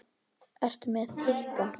Ertu með hita?